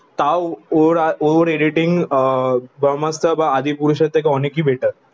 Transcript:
তও ওর আর ওরে এডিটিং আহ ব্রহ্মাস্ত্র বা আদিপুরুষ থেকে অনেকই বেটার